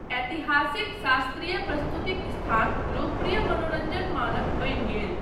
ऐतिहासिक शास्त्रीय प्रस्तुतिक स्थान लोकप्रिय मनोरञ्जन मानक बनि गेल।